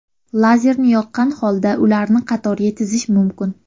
Lazerni yoqqan holda ularni qatorga tizish mumkin.